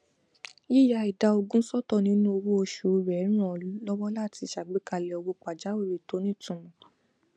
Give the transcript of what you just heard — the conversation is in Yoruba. yìya ìdá ogún sọtọ nínú owó oṣù rẹ ràn án lọwọ láti ṣàgbékalẹ owó pàjáwìrì tó nítumọ